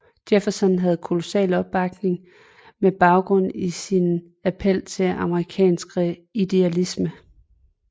Jefferson havde kolossal opbakning med baggrund i sin appel til amerikansk idealisme